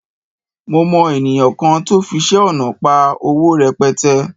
Mo mọ ènìyàn kan tó fiṣẹ́ ọnà pa owó rẹpẹtẹ